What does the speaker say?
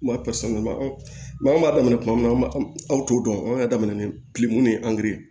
an b'a daminɛ kuma min na aw t'o dɔn anw ka daminɛ ni kile munnu ye ye